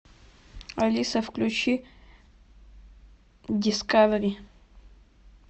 алиса включи дискавери